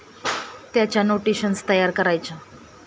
त्याच्या नोटेशन्स तयार करायच्या.